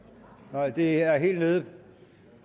nej det er helt nede